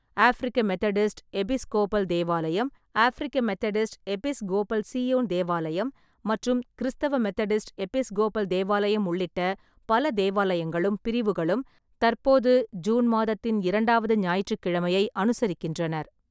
ஆஃபிரிக்க Methodist Episcopal தேவாலயம், ஆஃபிரிக்க Methodist Episcopal Zion தேவாலயம் மற்றும் கிறிஸ்தவ மெதடிஸ்ட் எபிஸ்கோபல் தேவாலயம் உள்ளிட்ட பல தேவாலயங்களும் பிரிவுகளும் தற்போது ஜூன் மாதத்தின் இரண்டாவது ஞாயிற்றுக் கிழமையை அனுசரிக்கின்றன.